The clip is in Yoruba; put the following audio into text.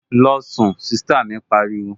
Losun! Sista mi pariwo